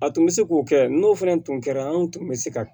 A tun bɛ se k'o kɛ n'o fana tun kɛra anw tun bɛ se ka